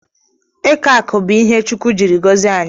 Eke akụ bụ ihe chukwu jiri gozie anyị.